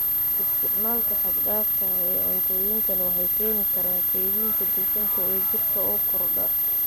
Isticmaalka xad-dhaafka ah ee cuntooyinkan waxay keeni karaan kaydinta dufanka ee jirka oo kordha.